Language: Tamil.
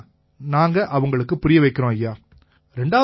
இதைத் தான் நாங்க அவங்களுக்குப் புரிய வைக்கறோம் ஐயா